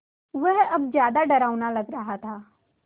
वह अब ज़्यादा डरावना लग रहा था